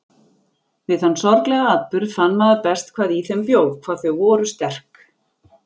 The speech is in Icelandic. Við þann sorglega atburð fann maður best hvað í þeim bjó, hvað þau voru sterk.